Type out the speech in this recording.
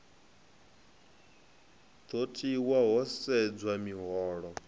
do tiwa ho sedzwa miholo